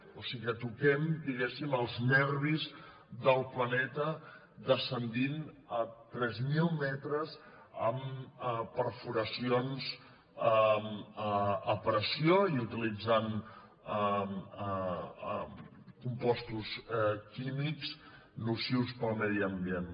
o sigui que toquem diguéssim els nervis del planeta en descendir a tres mil metres amb perforacions a pressió i utilitzant compostos químics nocius per al medi ambient